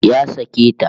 Ya sake ta